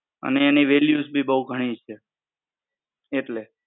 અને એની Values ભી બહું ઘણી છે એટલે.